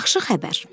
Yaxşı xəbər.